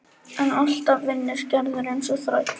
En alltaf vinnur Gerður eins og þræll.